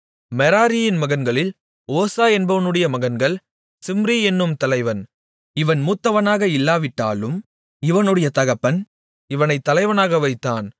மெராரியின் மகன்களில் ஓசா என்பவனுடைய மகன்கள் சிம்ரி என்னும் தலைவன் இவன் மூத்தவனாக இல்லாவிட்டாலும் இவனுடைய தகப்பன் இவனைத் தலைவனாக வைத்தான்